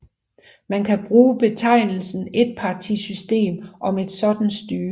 Man kan bruge betegnelsen étpartisystem om et sådant styre